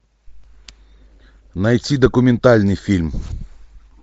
найти документальный фильм